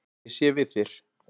Ég sé við þér.